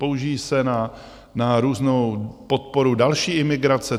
Použijí se na různou podporu další imigrace?